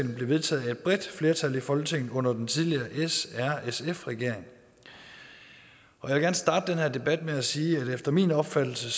ved blev vedtaget af et bredt flertal i folketinget under den tidligere srsf regering jeg kan starte den her debat med at sige at efter min opfattelse